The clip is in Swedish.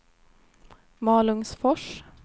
Malungsfors